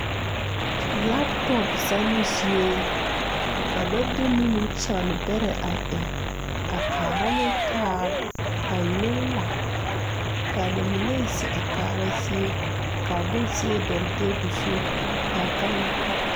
Laptɔp zanoo zie ka ba de nimikyaane bɛrɛ a eŋ a kaara ne taa ka mine la kaa ba mine zeŋ a kaara zie kaa bonzeɛ dɔgle tabol zu kaa gane dɔgle.